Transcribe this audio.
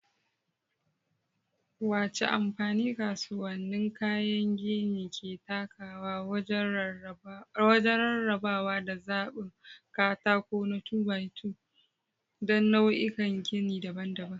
Wace amfani kasuwannin kayan gini ke takawa wajen rarrabawa da zaɓin katako na 2-by-2 don nau'ikan gini daban-daban?